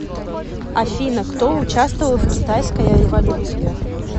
афина кто участвовал в китайская революция